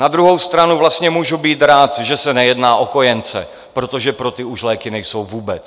Na druhou stranu vlastně můžu být rád, že se nejedná o kojence, protože pro ty už léky nejsou vůbec.